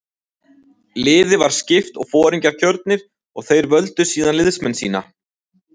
Liði var skipt og foringjar kjörnir og þeir völdu síðan liðsmenn sína.